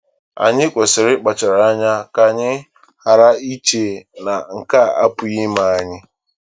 Anyị kwesịrị ịkpachara anya ka anyị ghara iche na nke a apụghị ime anyị.